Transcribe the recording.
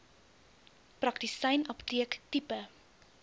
praktisyn apteek tipe